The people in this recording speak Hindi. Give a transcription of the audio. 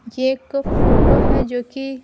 ये एक फोटो है जो कि--